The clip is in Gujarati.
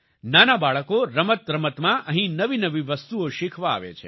નાના બાળકો રમતરમતમાં અહીં નવી નવી વસ્તુઓ શીખવા આવે છે